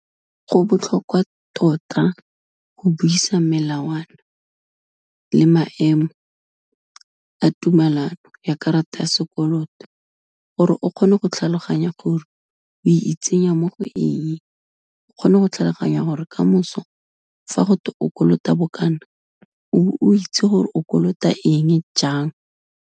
Go botlhokwa tota go buisa melawana le maemo a tumelano ya karata ya sekoloto, gore o kgone go tlhaloganya gore o itsenya mo go eng, o kgone go tlhaloganya gore kamoso fa go te o kolota bokana o be o itse gore o kolota eng, jang.